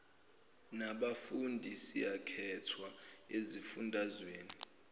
nabafundi siyakhethwa ezifundazweni